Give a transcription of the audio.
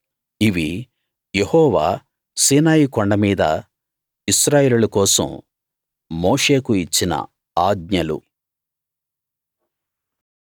ఇవి Jehovah Sinai కొండ మీద ఇశ్రాయేలీయుల కోసం మోషేకు ఇచ్చిన ఆజ్ఞలు